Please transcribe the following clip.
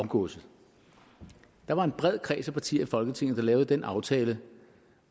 arvegodset der var en bred kreds af partier i folketinget der lavede den aftale